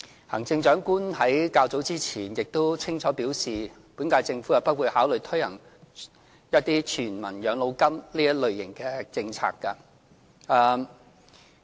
行政長官在較早前亦清楚表示，本屆政府不會考慮推行全民養老金這一類型的政策。